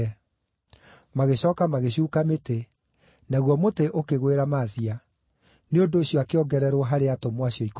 Magĩcooka magĩcuuka mĩtĩ, naguo mũtĩ ũkĩgwĩra Mathia; nĩ ũndũ ũcio akĩongererwo harĩ atũmwo acio ikũmi na ũmwe.